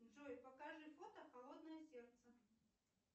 джой покажи фото холодное сердце